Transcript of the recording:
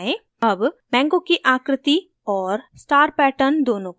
अब mango की आकृति और star पैटर्न दोनों को चुनें